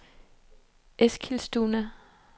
Eskilstuna